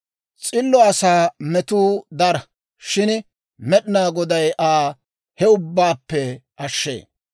S'illo asaa metuu dara; shin Med'inaa Goday Aa he ubbaappe ashshee.